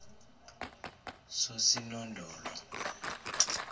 sosinondolo